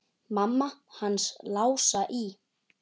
Mamma hans Lása í